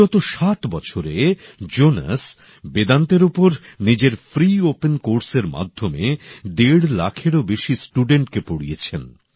বিগত সাত বছরে জোনেস বেদান্তের উপর সকলের জন্য বিনামূল্যের পাঠক্রমের মাধ্যমে দেড় লাখেরও বেশি ছাত্রছাত্রীকে পড়িয়েছেন